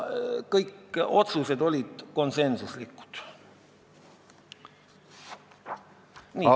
Kõik otsused olid konsensuslikud.